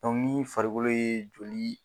Dɔnku ni farikolo ye joli